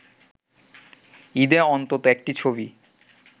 ঈদে অন্তত একটি ছবি